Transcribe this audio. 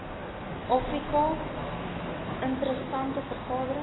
afrika interessante veranderings